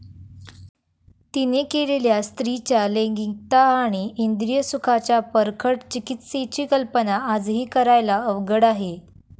तिने केलेल्या स्त्रीच्या लैंगिकता आणि इंद्रिय सुखाच्या परखड चिकित्सेची कल्पना आजही करायला अवघड आहे.